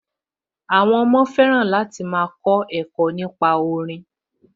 Àwọn ọmọ fẹ́ràn láti máa kọ ẹ̀kọ́ nípa orin